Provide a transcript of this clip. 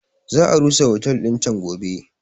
Za a rusa otel din can gobe.